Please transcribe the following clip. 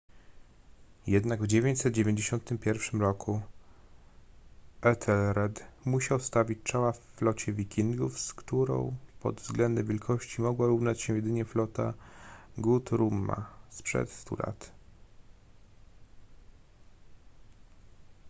jednak w 991 roku ethelred musiał stawić czoła flocie wikingów z którą pod względem wielkości mogła równać się jedynie flota guthruma sprzed stu lat